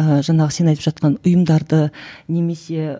ыыы жаңағы сен айтып жатқан ұйымдарды немесе